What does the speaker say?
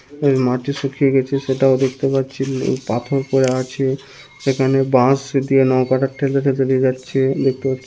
মাটি শুকিয়ে গেছে সেটাও দেখতে পাচ্ছি পাথর পড়ে আছে সেখানে বাঁশ দিয়ে নৌকাটা ঠেলে নিয়ে যাচ্ছে। দেখতে পাচ্ছি--